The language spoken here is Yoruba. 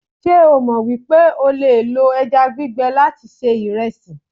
se o mo wipe o le lo eja gbigbe lati se iresi?